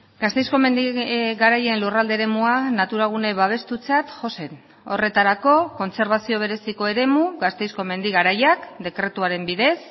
gasteizko mendi garaien lurralde eremua natura gune babestutzat jo zen horretarako kontserbazio bereziko eremu gasteizko mendi garaiak dekretuaren bidez